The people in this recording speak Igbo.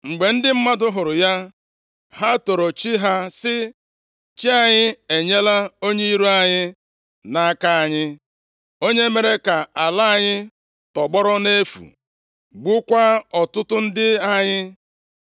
Mgbe ndị mmadụ hụrụ ya, ha toro chi ha sị, “Chi anyị enyela onye iro anyị nʼaka anyị, onye mere ka ala anyị tọgbọrọ nʼefu gbukwaa ọtụtụ ndị anyị.”